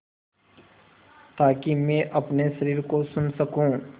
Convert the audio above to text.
ताकि मैं अपने शरीर को सुन सकूँ